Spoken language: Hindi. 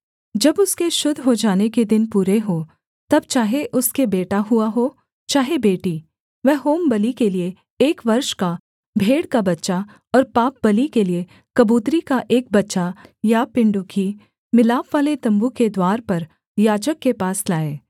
जब उसके शुद्ध हो जाने के दिन पूरे हों तब चाहे उसके बेटा हुआ हो चाहे बेटी वह होमबलि के लिये एक वर्ष का भेड़ का बच्चा और पापबलि के लिये कबूतरी का एक बच्चा या पिण्डुकी मिलापवाले तम्बू के द्वार पर याजक के पास लाए